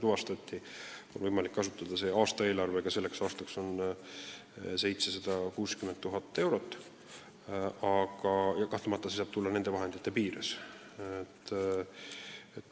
Aastaeelarve tänavuseks aastaks on 760 000 eurot ja kahtlemata tuleb tegutseda selle summa piires.